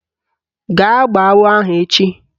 Gaa gbọọ agbọ ahụ echi!